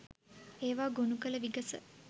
ඒවා ගොනු කළ විගස